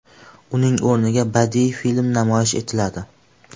Uning o‘rniga badiiy film namoyish etiladi.